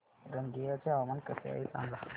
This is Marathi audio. रंगिया चे हवामान कसे आहे सांगा